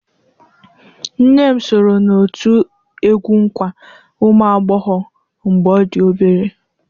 Nne m soro n'òtù egwú nkwa ụmụ ụmụagbọghọ mgbe ọ dị obere.